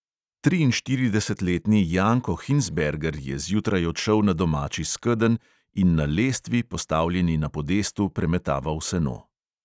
Triinštiridesetletni janko hinsberger je zjutraj odšel na domači skedenj in na lestvi, postavljeni na podestu, premetaval seno.